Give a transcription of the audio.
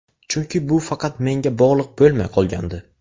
Chunki bu faqat menga bog‘liq bo‘lmay qolgandi.